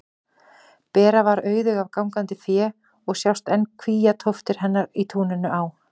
Bera var auðug af gangandi fé og sjást enn kvíatóftir hennar í túninu á